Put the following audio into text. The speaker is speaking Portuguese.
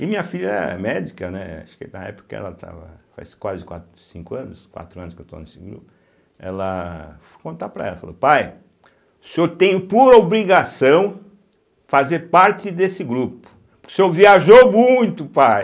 E minha filha é médica, né, acho que na época ela estava, faz quase quatro, cinco anos, quatro anos que eu estou nesse grupo, ela... Fui contar para ela, ela falou, pai, o senhor tem por obrigação fazer parte desse grupo, porque o senhor viajou muito, pai.